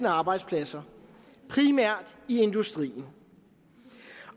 arbejdspladser primært i industrien